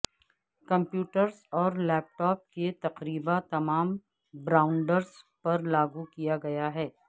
computers اور laptop کے تقریبا تمام برانڈز پر لاگو کیا گیا